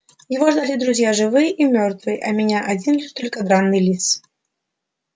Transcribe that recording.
его ждали друзья живые и мёртвые а меня один лишь только драный лис